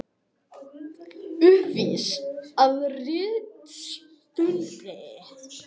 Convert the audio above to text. Uppvís að ritstuldi